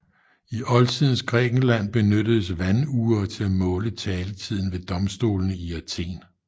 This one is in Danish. I oldtidens Grækenland benyttedes vandure til at måle taletiden ved domstolene i Athen